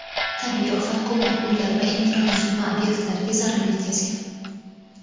Tabiiy ofat ko‘plab uylar va infratuzilma ob’ektlariga zarar yetkazgan.